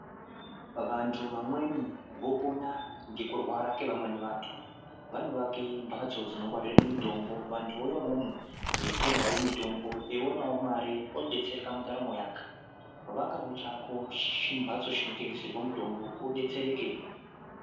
Vantu vamweni vopona ngekurwara kwevamweni vantu. Vanovake mbatso dzinongwarire mitombo vantu vouya imwomo veitengawo mitombo, eionawo mare odetsereka mundaramo yake. Vakawo chako chimbatso chinotengeserwe mitombo udetsereke.